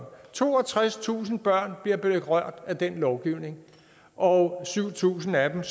toogtredstusind børn bliver berørt af den lovgivning og syv tusind af dem